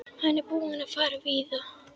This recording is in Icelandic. Hann er búinn að fara víða.